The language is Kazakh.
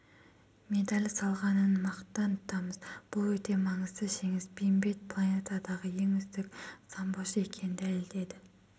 медаль салғанын мақтан тұтамыз бұл өте маңызды жеңіс бейімбет планетадағы ең үздік самбошы екенін дәлелдеді